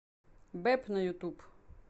бэп на ютуб